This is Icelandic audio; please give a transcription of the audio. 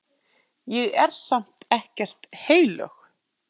Ég er samt ekkert heilög.